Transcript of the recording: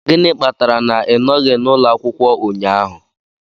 Gịnị kpatara na ị nọghị n'ụlọ akwụkwọ ụnyahụ?